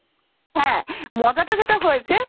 হাঁ মজাটা যেটা হয়েছে